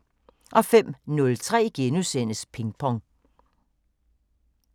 05:03: Pingpong